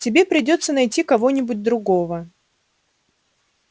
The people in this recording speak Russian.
тебе придётся найти кого-нибудь другого